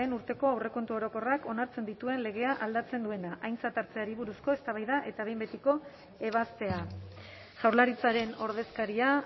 urteko aurrekontu orokorrak onartzen dituen legea aldatzen duena aintzat hartzeari buruzko eztabaida eta behin betiko ebazpena jaurlaritzaren ordezkaria